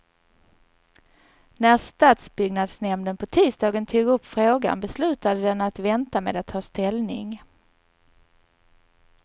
När stadsbyggnadsnämnden på tisdagen tog upp frågan beslutade den att vänta med att ta ställning.